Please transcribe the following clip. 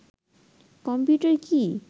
computer কি